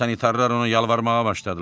Sanitarlar ona yalvarmağa başladılar.